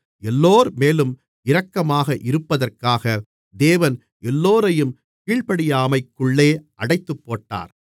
எல்லோர்மேலும் இரக்கமாக இருப்பதற்காக தேவன் எல்லோரையும் கீழ்ப்படியாமைக்குள்ளே அடைத்துப்போட்டார்